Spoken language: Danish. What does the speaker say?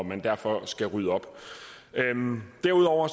man derfor skal rydde op derudover